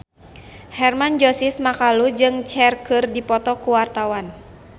Hermann Josis Mokalu jeung Cher keur dipoto ku wartawan